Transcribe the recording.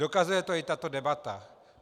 Dokazuje to i tato debata.